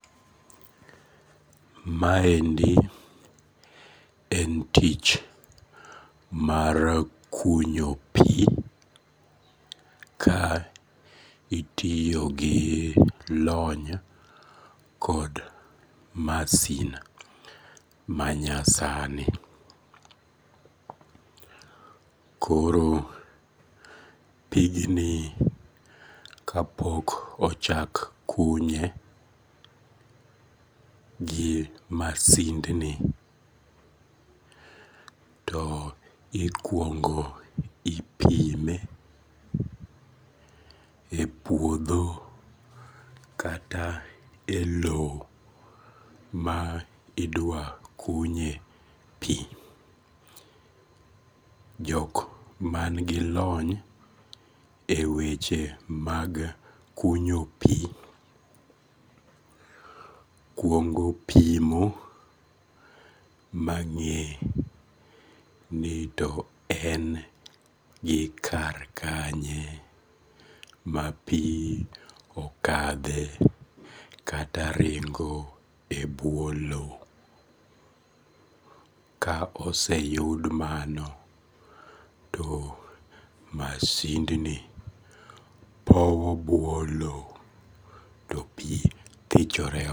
Maendi en tich mar kunyo pi ka itiyo gi lony kod masin manyasani koro pigni kapok ochak kunye gi masindni, to ikuongo ipime e puodho kata e lowo ma idwa kunye pi, jok mangi lony e weche mag kunyo pi kuongo pimo mang'e ni to en gi kar kanye mapi okathe kata ringo e bwo lowo, ka oseyud mano to masindni powo bwo lowo to pi thichore oko